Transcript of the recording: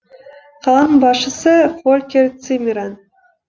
қаланың басшысы фолькер циммерман